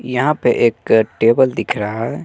यहां पे एक टेबल दिख रहा है।